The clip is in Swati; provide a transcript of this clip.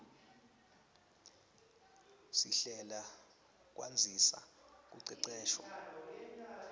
sihlela kwandzisa kuceceshwa